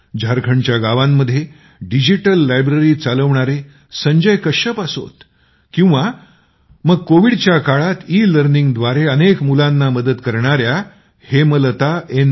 झारखंडच्या गावांमध्ये digital library चालवणारे संजय कश्यप असोत किंवा मग कोविडच्या काळात ईलर्निंगद्वारे अनेक मुलांना मदत करणाऱ्या हेमलता एन